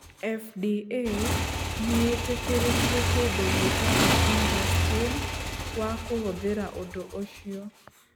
FDA nĩ ĩtĩkĩrĩtie kĩndũ gĩtagwo InterStim wa kũhũthĩra ũndũ ũcio.